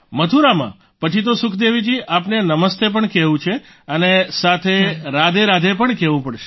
મથુરામાં પછી તો સુખદેવીજી આપને નમસ્તે પણ કહેવું છે અને સાથેસાથે રાધેરાધે પણ કહેવું પડશે